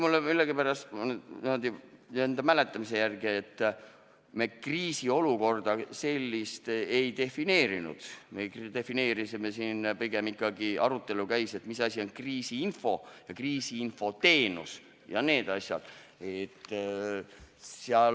Minu mäletamise järgi me kriisiolukorda kui sellist ei defineerinud, me defineerisime pigem kriisiinfot, arutelu käis ikkagi selle üle, mis asi on kriisiinfo ja kriisiinfo teenus.